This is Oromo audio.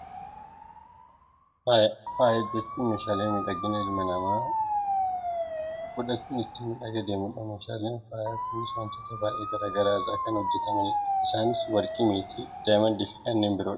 Faaya, faaya jechuun meeshaalee miidhaginaa ilmi namaa godhachuun ittiin miidhagee deemudha. Meeshaan faayaa kunis wantoota baayyee gara garaa irraa kan hojjatamanidha. Isaanis warqii, meeting , daayimeendii fi kanneen biroo dha.